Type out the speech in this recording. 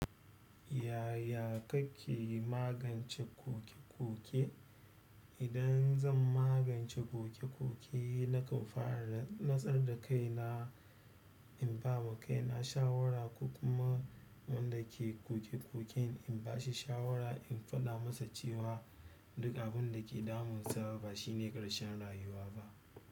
Yaya kake magance koke-koke? Idan zan magance koke-koke, nakan fara da nutsar da kaina, in ba ma kaina shawara ko kuma wanda ke koke-koken in ba shi shawara, in faɗa masa cewa duk abinda ke damunsa ba shine ƙarshen rayuwa ba.